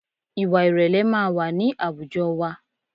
Ìwà ìrẹ̀lẹ̀ máa wà ní àwùjọ wa